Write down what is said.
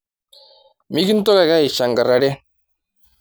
Mikintoki ake aishankarare